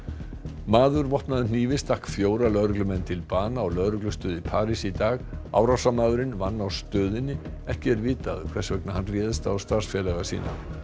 maður vopnaður hnífi stakk fjóra lögreglumenn til bana á lögreglustöð í París í dag árásarmaðurinn vann á stöðinni ekki er vitað hvers vegna hann réðst á starfsfélaga sína